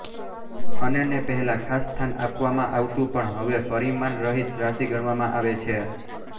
અને ને પહેલા ખાસ સ્થાન આપવામાં આવતું પણ હવે પરિમાણરહિત રાશિ ગણવામાં આવે છે